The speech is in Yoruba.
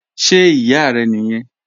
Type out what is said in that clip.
Ṣe iya rẹ niyẹn?